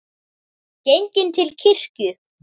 Genginn til kirkju.